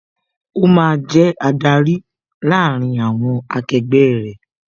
Ó máa jẹ adarí láàárín àwọn akegbẹ́ rẹ